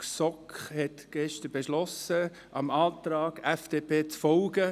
Die GSoK hat mit 10 zu 3 Stimmen bei 4 Enthaltungen beschlossen, dem Antrag FDP zu folgen.